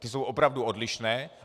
Ty jsou opravdu odlišné.